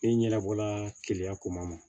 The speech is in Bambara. Ne ɲɛbɔla keya ko ma